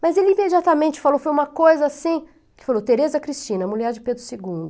Mas ele imediatamente falou, foi uma coisa assim, que falou, Tereza Cristina, mulher de Pedro segundo